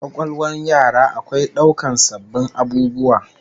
Kwakwalwar yara akwai daukar sabbin abubuwa